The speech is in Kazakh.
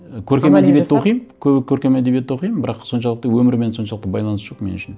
і көркем әдебиетті оқимын көркем әдебиетті оқимын бірақ соншалықты өмірмен соншалықты байланысы жоқ меніңше